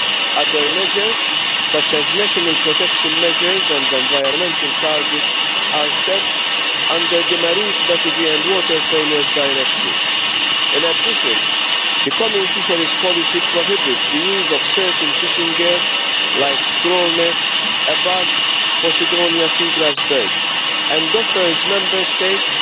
Other measures, such as national protection measures and environmental targets, are set under the Marine Strategy and Water Framework Directives. In addition, the Common Fisheries Policy prohibits the use of certain fishing gear like trawl nets above Posidonia seagrass beds and offers Member States